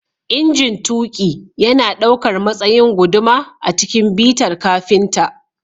Injin tuƙi yana ɗaukar matsayin guduma a cikin bitar kafinta